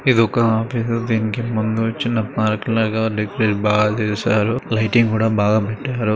ఇదొక ఆఫీస్ దీనికి ముందు చిన్న పార్క్ లాగా డెకరేట్ బాగ చేశారు లైటింగ్ కూడా బాగా పెట్టారు.